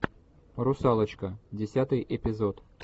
русалочка десятый эпизод